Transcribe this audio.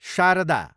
Sharada